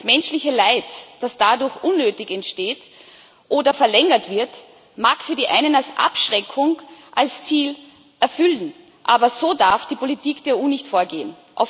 Das menschliche Leid, das dadurch unnötig entsteht oder verlängert wird, mag für die einen als Abschreckung sein Ziel erfüllen, aber so darf die Politik der EU nicht vorgehen.